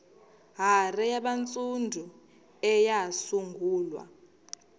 hare yabantsundu eyasungulwa